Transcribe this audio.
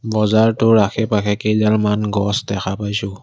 বজাৰটোৰ আশে পাশে কেইডালমান গছ দেখা পাইছোঁ।